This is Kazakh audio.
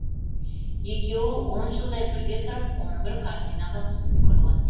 екеуі он жылдай бірге тұрып он бір картинаға түсіп үлгерген